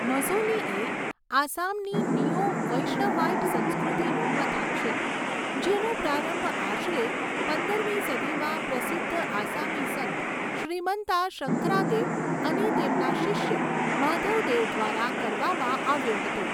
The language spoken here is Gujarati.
મઝૌલી એ આસામની નીઓ વૈષ્ણવાઈટ સંસ્કૃતિનું મથક છે, જેનો પ્રારંભ આશરે પંદરમી સદીમાં પ્રસિધ્ધ આસામી સંત શ્રીમંતા શંકરાદેવ અને તેમના શિષ્ય માધવ દેવ દ્વારા કરવામાં આવ્યો હતો.